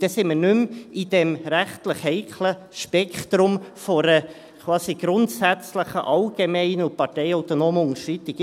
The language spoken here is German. Dann sind wir nicht mehr in diesem rechtlich heiklen Spektrum einer quasi grundsätzlichen allgemeinen und parteiautonomen Unterschreitung.